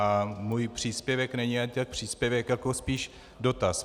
A můj příspěvek není ani tak příspěvek jako spíš dotaz.